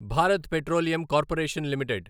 Bharat petroleum corporation limited